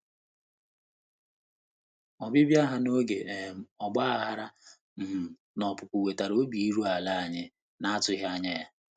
Ọbịbịa ha n'oge um ọgbaghara na um opupu wetara obi iru ala anyị na-atụghị anya ya.